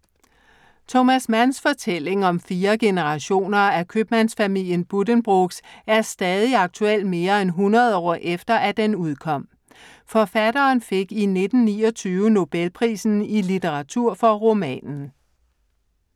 Thomas Manns fortælling om fire generationer af købmandsfamilien Buddenbrook er stadig aktuel mere end 100 år efter, at den udkom. Forfatteren fik i 1929 Nobelprisen i litteratur for romanen.